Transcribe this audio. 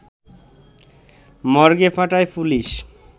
মর্গে পাঠায় পুলিশ